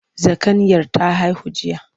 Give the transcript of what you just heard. Zakanyar ta haihu jiya.